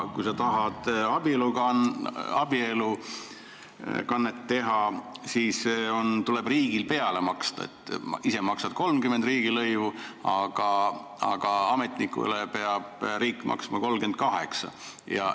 Kui sa tahad abielukannet teha, siis tuleb riigil peale maksta: sa maksad 30 eurot riigilõivu, aga riik peab ametnikule maksma 38 eurot.